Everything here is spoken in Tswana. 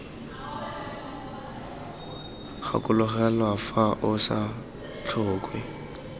gakologelwa fa o sa tlhoke